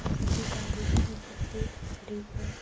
बस की गाड़ी यहाँ पे खड़ी है।